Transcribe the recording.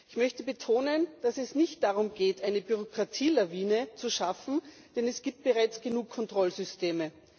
Ich möchte betonen, dass es nicht darum geht, eine Bürokratielawine zu schaffen, denn es gibt bereits genug Kontrollsysteme.